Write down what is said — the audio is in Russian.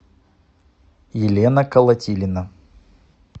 елена колотилина